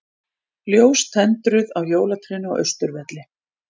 Ljós tendruð á jólatrénu á Austurvelli